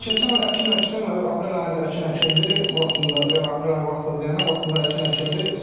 Keçən il əkin əkdim, aprel ayında əkin əkildi vaxtında, yəni aprel ayında vaxtında deyəndə vaxtında əkin əkildi.